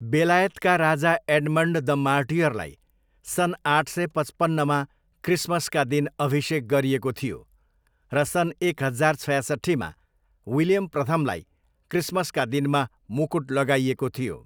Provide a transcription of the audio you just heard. बेलायतका राजा Edmund the मार्टियरलाई सन् आठ सय पचपन्नमा क्रिसमसका दिन अभिषेक गरिएको थियो र सन् एक हजार छयासट्ठीमा विलियम प्रथमलाई क्रिसमसका दिनमा मुकुट लगाइएको थियो।